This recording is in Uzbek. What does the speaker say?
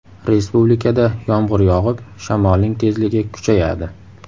Respublikada yomg‘ir yog‘ib, shamolning tezligi kuchayadi.